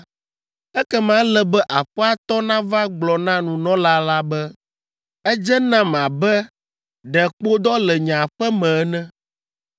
ekema ele be aƒea tɔ nava gblɔ na nunɔla la be, ‘Edze nam abe ɖe kpodɔ le nye aƒe me ene!’